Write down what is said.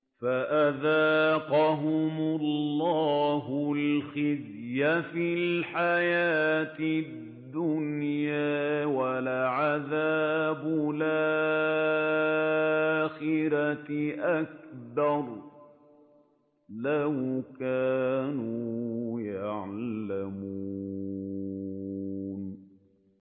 فَأَذَاقَهُمُ اللَّهُ الْخِزْيَ فِي الْحَيَاةِ الدُّنْيَا ۖ وَلَعَذَابُ الْآخِرَةِ أَكْبَرُ ۚ لَوْ كَانُوا يَعْلَمُونَ